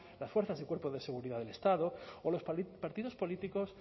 las fuerzas de cuerpos de seguridad del estado o los partidos políticos